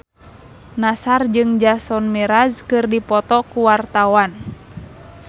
Nassar jeung Jason Mraz keur dipoto ku wartawan